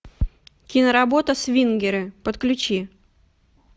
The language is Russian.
киноработа свингеры подключи